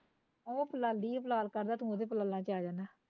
ਉਹ ਫੁਲਾਂਦੀ ਐ ਫਲਾਲ ਕਰਦਾ ਤੂੰ ਉਹਦੇ ਫੁਲਾਲਾਂ ਚ ਆ ਜਾਂਦਾ